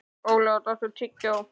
Olaf, áttu tyggjó?